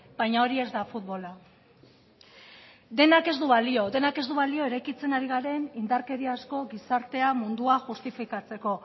baina hori ez da futbola denak ez du balio denak ez du balio eraikitzen ari garen indarkeria asko gizartea mundua justifikatzeko